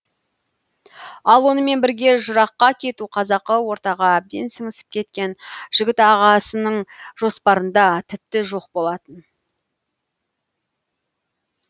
ал онымен бірге жыраққа кету қазақы ортаға әбден сіңісіп кеткен жігіт ағасының жоспарында тіпті жоқ болатын